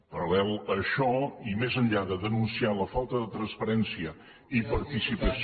en paral·lel amb això i més enllà de denunciar la falta de transparència i participació